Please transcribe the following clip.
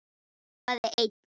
Hrópaði einn: